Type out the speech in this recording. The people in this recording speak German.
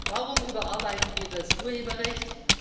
Warum überarbeiten wir das Urheberrecht?